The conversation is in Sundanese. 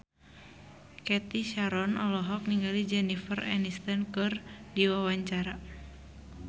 Cathy Sharon olohok ningali Jennifer Aniston keur diwawancara